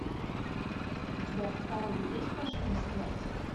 у тебя в каталоге есть машина смерти